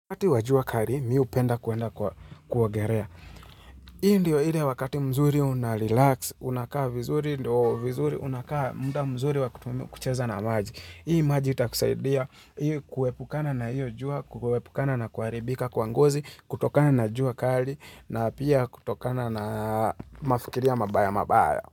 Wakati wajua kali, mi hupenda kuenda kuogelea. Hii ndiyo ile wakati mzuri unarelax, unakaa vizuri, unakaa muda mzuri wa kutumia kucheza na maji. Hii maji itakusaidia ili kuepukana na hiyo jua, kuepukana na kuharibika, kwa ngozi, kutokana na jua kali, na pia kutokana na mafikiria mabaya mabaya.